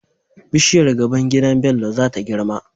Bishiyar gaban gidan Bello zata girma